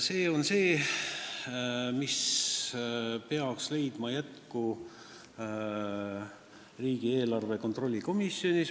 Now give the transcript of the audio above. See on see, mis peaks leidma jätku riigieelarve kontrolli komisjonis.